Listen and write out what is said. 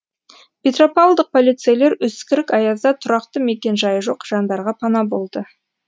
петропавлдық полицейлер үскірік аязда тұрақты мекенжайы жоқ жандарға пана болды